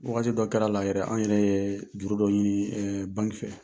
wagati dɔ kɛra la yɛrɛ ,an yɛrɛ ye juru dɔ ɲini banki fɛ.